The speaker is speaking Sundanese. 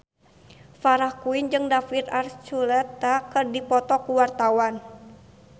Farah Quinn jeung David Archuletta keur dipoto ku wartawan